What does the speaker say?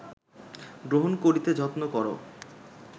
গ্রহণ করিতে যত্ন কর